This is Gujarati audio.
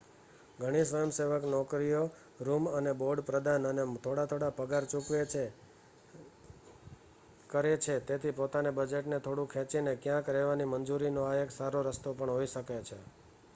ઘણી સ્વયંસેવક નોકરીઓ રૂમ અને બોર્ડ પ્રદાન અને થોડા થોડા પગાર ચૂકવે છે કરે છે તેથી પોતાના બજેટને થોડું ખેંચીને ક્યાંક રહેવાની મંજૂરીનો આ એક સારો રસ્તો પણ હોઈ શકે છે